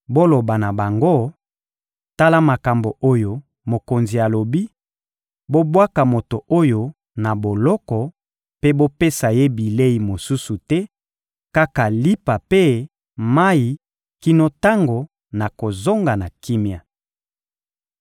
Boloba na bango: «Tala makambo oyo mokonzi alobi: ‹Bobwaka moto oyo na boloko mpe bopesa ye bilei mosusu te, kaka lipa mpe mayi kino tango nakozonga na kimia.›»